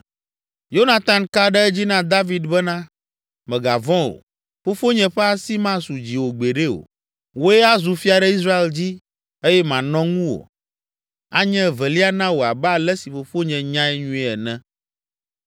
Yonatan ka ɖe edzi na David bena “Mègavɔ̃ o, fofonye ƒe asi masu dziwò gbeɖe o! Wòe azu fia ɖe Israel dzi eye manɔ ŋuwò, anye evelia na wò abe ale si fofonye nyae nyuie ene.”